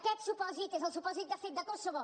aquest supòsit és el supòsit de fet de kosovo